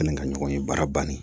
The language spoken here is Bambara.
Ani ka ɲɔgɔn ye baara bannen